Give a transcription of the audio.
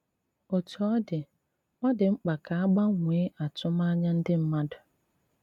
Otu ọ̀ dị, ọ̀ dị mkpa ka a gbanwee àtụ̀mànyà ndị mmadụ.